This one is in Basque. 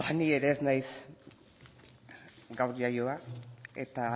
ni ere ez naiz gaur jaioa eta